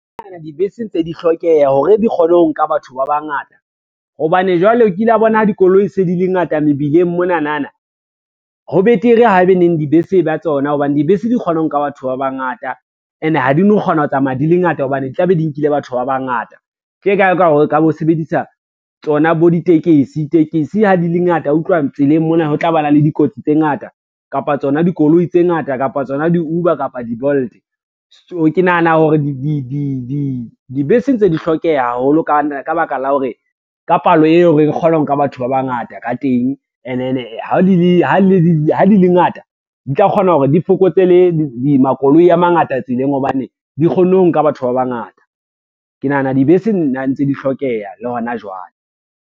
Dibese ntse di hlokeha hore di kgone ho nka batho ba bangata, hobane jwale o kila bona ha dikoloi se di le ngata mebileng monanana, ho betere haebeneng dibese ba tsona hobane dibese di kgona ho nka batho ba bangata, ene ha di no kgona ho tsamaya di le ngata hobane tlabe di nkile batho ba bangata. Tje ka e ka ho re ka bo sebedisa tsona bo ditekesi, tekesi ha di le ngata wa utlwa tseleng mona ho tla bana le dikotsi tse ngata, kapa tsona dikoloi tse ngata, kapa tsona di-Uber, kapa di-Bolt. So ke nahana hore dibese ntse di hlokeha haholo ka baka la hore, ka palo eo re kgona ho nka batho ba bangata ka teng, and then ha di le ngata, di tla kgona hore di fokotse le makoloi a mangata tseleng hobane, di kgonne ho nka batho ba bangata. Ke nahana dibese nna ntse di hlokeha le hona jwale.